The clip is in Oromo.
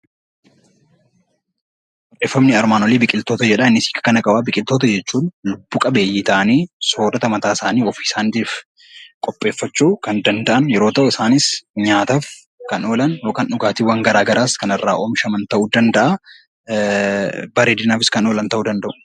Biqitoota jechuun lubbu-qabeeyyii ta'anii soorata mataasaani ofii isaaniitiif qopheeffachuu kan danda'an yoo ta'u, isaanis nyaataaf kan oolan yookaan dhugaatiiwwan garaagaraas kan irraa oomishaman ta'uu danda'a. Bareedinaafis kan oolan ta'uu danda'u.